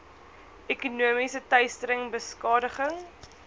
ekonomiese teistering beskadiging